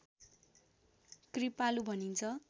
कृपालु भनिन्छ